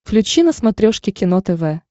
включи на смотрешке кино тв